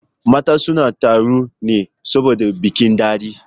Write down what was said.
Matan sun taru ne saboda bikin daɗe